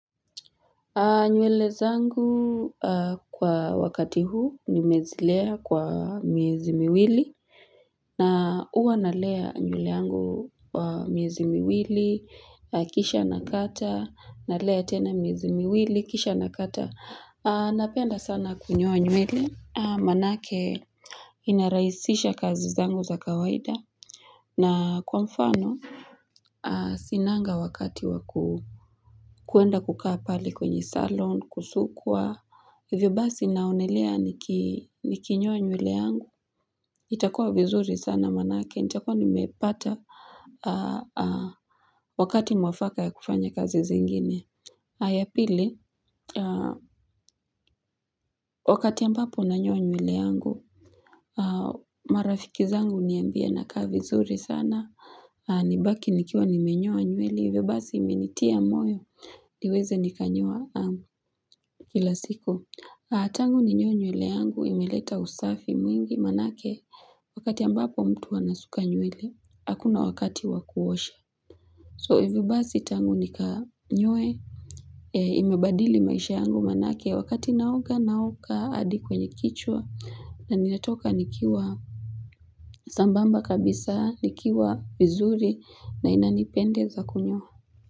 Nywele zangu kwa wakati huu ni mezilea kwa miezi miwili na uwa nalea nywele angu wa miezi miwili kisha nakata nalea tena miezi miwili kisha nakata Napenda sana kunyoa nywele manake inarahisisha kazi zangu za kawaida na kwa mfano, sinanga wakati wa kuenda kukaa pale kwenye salon, kusukwa. Hivyo basi naonelea nikinyoa nywele yangu. Itakua vizuri sana maanake, itakua nimepata wakati mwafaka ya kufanya kazi zingine. Aya pili, wakati ya mpapo unanyo nyule yangu, marafiki zangu uniambia na kaa vizuri sana. Nibaki nikiwa nimenyoa nywele, hivyo basi imenitia moyo, niweze nikanyoa kila siku. Tangu ninyoe nyweli yangu, imeleta usafi mwingi manake, wakati ambapo mtu wanasuka nyweli, hakuna wakati wakuosha. So hivyo basi tangu nikanyoe, imebadili maisha yangu manake, wakati nauga nauka adi kwenye kichwa, na nilatoka nikiwa sambamba kabisa nikiwa vizuri na inanipende za kunyoa.